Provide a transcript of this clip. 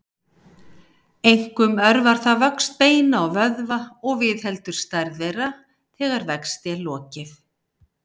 Einkum örvar það vöxt beina og vöðva og viðheldur stærð þeirra þegar vexti er lokið.